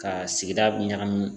Ka sigida ɲagami